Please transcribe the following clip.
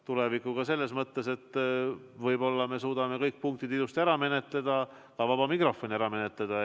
Tulevikuga selles mõttes, et võib-olla me suudame kõik punktid ilusti ära menetleda, ka vaba mikrofoni vooru avada.